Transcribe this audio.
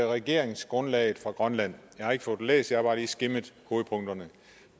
regeringsgrundlaget fra grønland jeg har ikke fået det læst jeg har bare lige skimmet hovedpunkterne